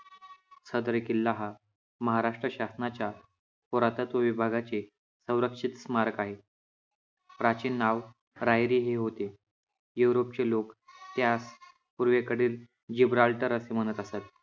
सदर किल्ला हा महाराष्ट्र शासनाच्या पुरातत्त्व विभागाचे संरक्षित स्मारक आहे. प्राचीन नाव रायरी हे होते. युरोपचे लोकं त्यास पूर्वेकडील जिब्राल्टर असं म्हणत असत.